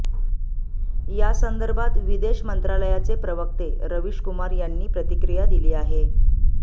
या संदर्भात विदेश मंत्रालयाचे प्रवक्ते रवीश कुमार यांनी प्रतिक्रिया दिली आहे